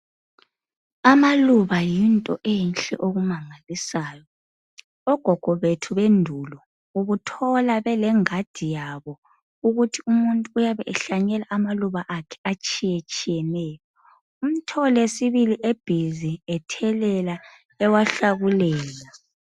Amaluba yinto enhle okumangalisayo. Ogogo bethu bendulo, ubuthola belengadi yabo. Ukuthi umuntu uyabe ehlanyela amaluba akhe atshiyetshiyeneyo. Umthole sibili ebusy ethelela, ewahlakulela.